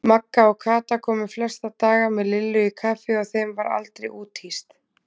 Magga og Kata komu flesta daga með Lillu í kaffi og þeim var aldrei úthýst.